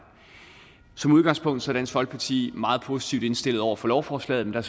som udgangspunkt er dansk folkeparti meget positivt indstillet over for lovforslaget men